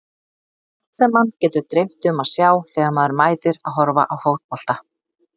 Allt sem mann getur dreymt um að sjá þegar maður mætir að horfa á fótbolta.